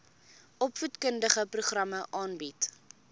opvoedkundige programme aanbied